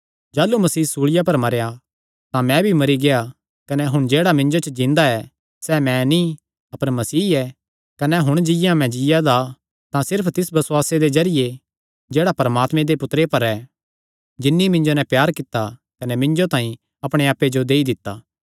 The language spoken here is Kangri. जाह़लू मसीह सूल़िया पर मरेया तां मैं भी मरी गेआ कने हुण जेह्ड़ा मिन्जो च जिन्दा ऐ सैह़ मैं नीं अपर मसीह ऐ कने हुण जिंआं मैं जीआ दा ऐ तां सिर्फ तिस बसुआसे दे जरिये जेह्ड़ा परमात्मे दे पुत्तरे पर ऐ जिन्नी मिन्जो नैं प्यार कित्ता कने मिन्जो तांई अपणे आप्पे जो देई दित्ता